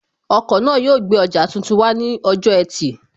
Ọkọ̀ náà yóò gbé ọjà tuntun wá ní ọjọ́ ẹtì